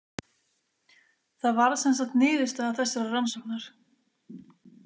Það varð sem sagt niðurstaða þessarar rannsóknar.